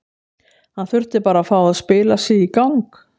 Hann þurfti bara að fá að spila sig í gang.